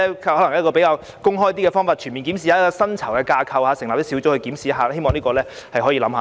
譬如以較公開和全面的方法檢視薪酬架構，又或成立小組進行檢視，希望政府會考慮。